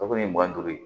Kabini mugan ni duuru ye